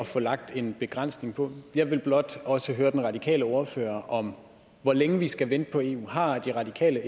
få lagt en begrænsning på jeg vil blot også høre den radikale ordfører om hvor længe vi skal vente på eu har de radikale